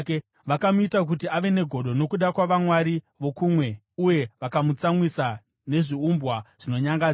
Vakamuita kuti ave negodo nokuda kwavamwari vokumwe uye vakamutsamwisa nezviumbwa zvinonyangadza.